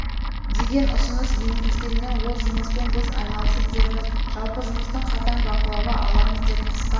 деген ұсыныс енгізгенмін ол жұмыспен біз айналысып жүрміз жалпы жұмысты қатаң бақылауға аламыз деп қысқа